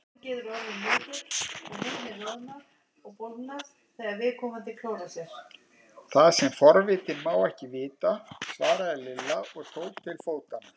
Það sem forvitinn má ekki vita! svaraði Lilla og tók til fótanna.